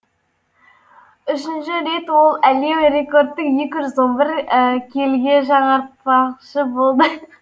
үшінші рет ол әлем рекордын екі жүз он бір келіге жаңартпақшы болды